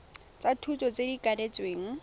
tsa tota tse di kanetsweng